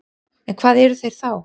En hvað eru þeir þá?